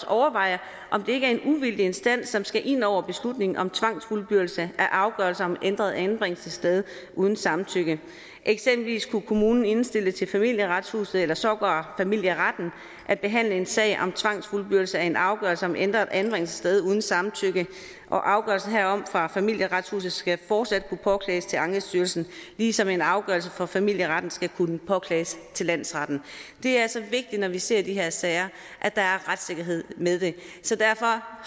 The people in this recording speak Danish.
overveje om det ikke er en uvildig instans som skal ind over beslutningen om tvangsfuldbyrdelse af afgørelser om ændret anbringelsessted uden samtykke eksempelvis kunne kommunen indstille til familieretshuset eller sågar familieretten at behandle en sag om tvangsfuldbyrdelse af en afgørelse om ændret anbringelsessted uden samtykke afgørelsen herom fra familieretshuset skal fortsat kunne påklages til ankestyrelsen ligesom en afgørelse fra familieretten skal kunne påklages til landsretten det er altså vigtigt når vi ser de her sager at der er retssikkerhed med det så derfor